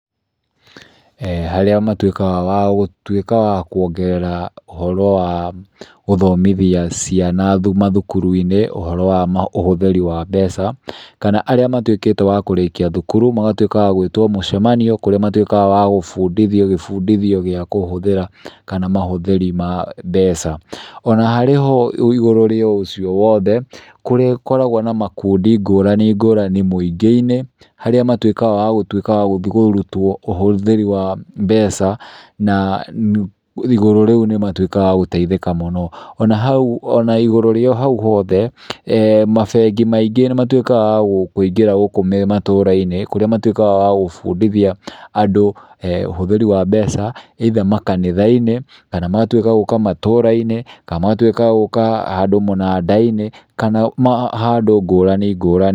Arĩa matuĩkaga wa gũtuĩka wa kuongerera ũhoro wa gũthomithia ciana mathukuru-inĩ ũhoro wa ũhũthĩri wa mbeca, kana arĩa matuĩkĩte wa kũrĩkia thukuru magatuĩka wa gũĩtwo mũcemanio kũrĩa matuĩkaga wa gũbundithio gĩbundithio gĩa kũhũthĩra kana mahũthĩri ma mbeca. Ona harĩ ho igũrũ rĩa ũcio wothe, kũrĩ gũkoragwo na makundi ngũrani ngũrani mũingĩ-inĩ arĩa matuĩkaga wa gũtuĩka wa gũthi kũrutwo ũhũthĩri wa mbeca na nĩ igũrũ rĩu nĩ matuĩkaga wa gũteithĩka mũno. Ona hau ona igũrũ rĩa hau hothe, mabengi maingĩ nĩ matuĩkaga wa kũngũira gũkũ matũra-inĩ kũrĩa matuĩkaga wa gũbunditia andũ ũhũthĩri wa mbeca ĩitha makanitha-inĩ kana magatuĩka gũka matũra-inĩ kana magatuĩka gũka handũ mũnanda-inĩ kana handũ ngũrani ngũrani.